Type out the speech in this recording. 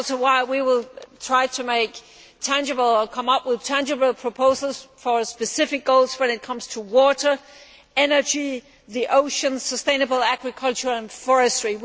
That is why we will try to come up with tangible proposals for specific goals when it comes to water, energy, the oceans, sustainable agriculture and forestry.